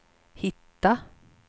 hitta